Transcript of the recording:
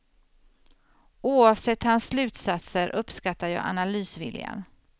Oavsett hans slutsatser uppskattar jag analysviljan.